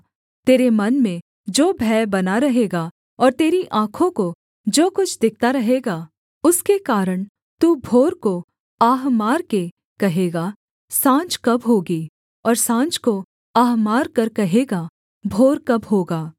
तेरे मन में जो भय बना रहेगा और तेरी आँखों को जो कुछ दिखता रहेगा उसके कारण तू भोर को आह मारकर कहेगा साँझ कब होगी और साँझ को आह मारकर कहेगा भोर कब होगा